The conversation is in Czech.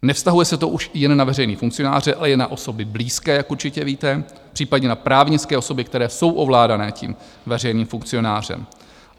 Nevztahuje se to už jen na veřejné funkcionáře, ale i na osoby blízké, jak určitě víte, případně na právnické osoby, které jsou ovládané tím veřejným funkcionářem.